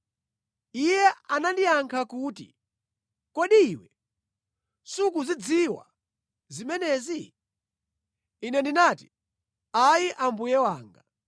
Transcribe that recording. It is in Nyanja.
Iye anandiyankha kuti, “Kodi iwe sukuzidziwa zimenezi?” Ine ndinati, “Ayi mbuye wanga.”